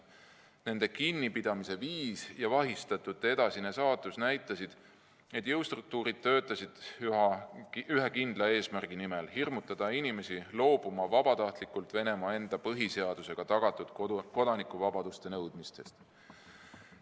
Nende kinnipidamise viis ja vahistatute edasine saatus näitasid, et jõustruktuurid töötasid ühe kindla eesmärgi nimel: hirmutada inimesi vabatahtlikult loobuma Venemaa enda põhiseadusega tagatud kodanikuvabaduste nõudmisest.